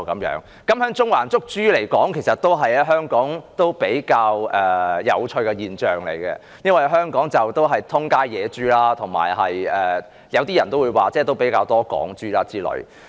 在中環捕捉活豬，其實在香港也是比較有趣的現象，因為香港四處都是野豬，有些人也會說有比較多"港豬"，諸如此類。